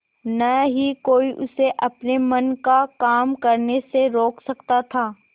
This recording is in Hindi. न ही कोई उसे अपने मन का काम करने से रोक सकता था